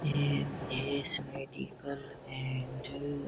M S medical and --